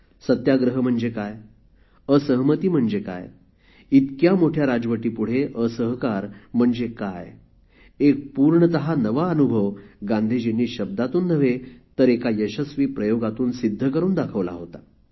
सत्याग्रह म्हणजे काय असहमती म्हणजे काय इतक्या मोठ्या राजवटीपुढे असहकार म्हणजे काय एक पूर्णत नवा अनुभव गांधीजींनी शब्दातून नव्हे तर एका यशस्वी प्रयोगातून सिद्ध करून दाखवला होता